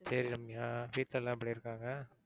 சரி ரம்யா வீட்ல எல்லாம் எப்படி இருக்காங்க?